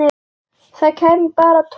Það kæmi bara tóm þvæla.